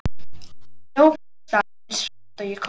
Ég hljóp því af stað eins hratt og ég komst.